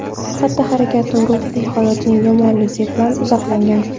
xatti-harakatini ruhiy holatining yomonligi bilan izohlagan.